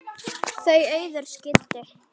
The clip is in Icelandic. Þau Auður skildu.